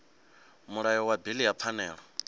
mulayo wa bili ya pfanelo